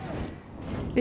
við